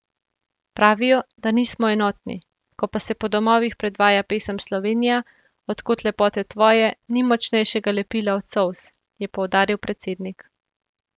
Pravijo, da nismo enotni, ko pa se po domovih predvaja pesem Slovenija, od kod lepote tvoje, ni močnejšega lepila od solz, je poudaril predsednik.